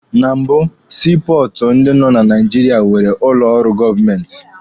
Na mbụ, sii pọọtụ ndị nọ na Naijiria nwere ụlọ ọrụ government.